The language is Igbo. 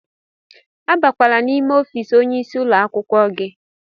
Abakwala n'ime ọfiisi onye isi ụlọ akwụkwọ gị!